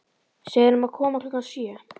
Segðu honum að koma klukkan sjö.